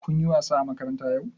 Kun yi wasa a makaranta yau?